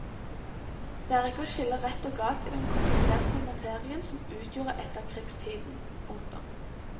Det er ikke å skille rett og galt i den kompliserte materien som utgjorde etterkrigstiden. punktum